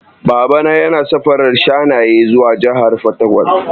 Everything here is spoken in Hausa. Baba na yana safarar shanaye zuwa jahar fataƙwal.